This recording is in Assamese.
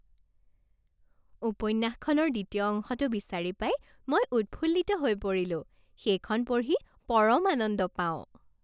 উপন্যাসখনৰ দ্বিতীয় অংশটো বিচাৰি পাই মই উৎফুল্লিত হৈ পৰিলোঁ। সেইখন পঢ়ি পৰম আনন্দ পাওঁ।